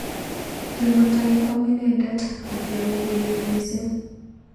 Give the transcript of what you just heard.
Kingotoi kwam inendet kokiamei kelyek mising.